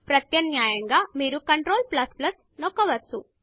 ప్రత్యామ్నాయంగా మీరు Ctrl నొక్కవచ్చు